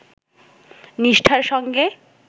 নিষ্ঠার সঙ্গে